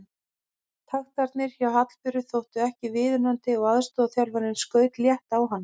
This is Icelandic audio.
Taktarnir hjá Hallberu þóttu ekki viðunandi og aðstoðarþjálfarinn skaut létt á hana.